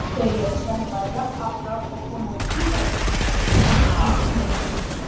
þau eru sennilega jafnaldrar og komin úr gígaröð sem nú er undir jökli